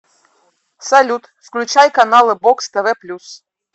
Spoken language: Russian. салют включай каналы бокс тв плюс